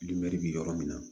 bi yɔrɔ min na